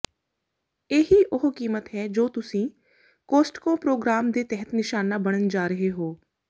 ਇਹੀ ਉਹ ਕੀਮਤ ਹੈ ਜੋ ਤੁਸੀਂ ਕੋਸਟਕੋ ਪ੍ਰੋਗਰਾਮ ਦੇ ਤਹਿਤ ਨਿਸ਼ਾਨਾ ਬਣਨ ਜਾ ਰਹੇ ਹੋ